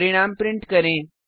परिणाम प्रिंट करें